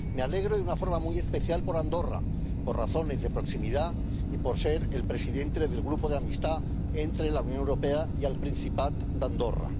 Me alegro de una forma muy especial por Andorra, por razones de proximidad y por ser el presidente del Grupo de Amistad entre la Unión Europea y el Principat d'Andorra.